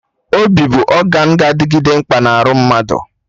Obi bụ ọgan ga-adịgide mkpa na arụ mmadụ